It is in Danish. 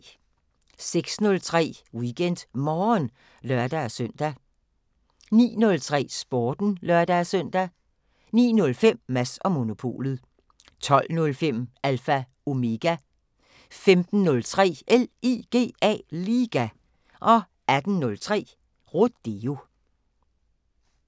06:03: WeekendMorgen (lør-søn) 09:03: Sporten (lør-søn) 09:05: Mads & Monopolet 12:05: Alpha Omega 15:03: LIGA 18:03: Rodeo